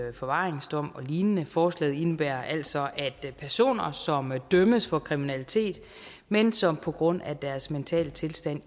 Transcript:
en forvaringsdom og lignende forslaget indebærer altså at personer som dømmes for kriminalitet men som på grund af deres mentale tilstand